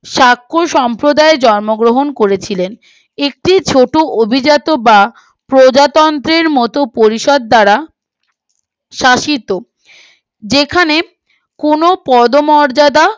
সাক্ষ সম্প্রদায়ে জন্মগ্রহণ করেছিলেন এটি ছোটো অভিজাত বা প্রজাতন্ত্রের মতো পরিষদ দ্বারা শাসিত যেখানে কোনো পদমর্যাদা